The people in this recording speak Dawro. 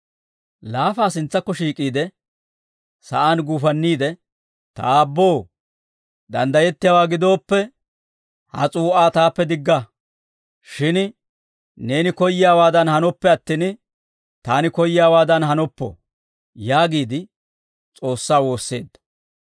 Laafaa sintsakko shiik'iide, sa'aan guufanniide, «Ta Aabboo, danddayettiyaawaa gidooppe, ha s'uu'aa taappe digga; shin neeni koyyiyaawaadan hanoppe attin, taani koyyiyaawaadan hanoppo» yaagiide S'oossaa woosseedda.